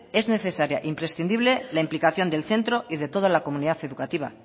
es necesaria e imprescindible la implicación del centro y de de toda la comunidad educativa